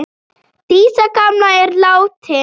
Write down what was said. Dísa gamla er látin.